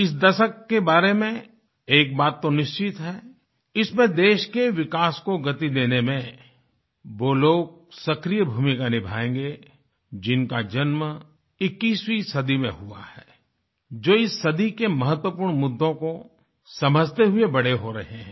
इस दशक के बारे में एक बात तो निश्चित है इसमें देश के विकास को गति देने में वो लोग सक्रिय भूमिका निभायेंगे जिनका जन्म 21वीं सदी में हुआ है जो इस सदी के महत्वपूर्ण मुद्दों को समझते हुये बड़े हो रहे हैं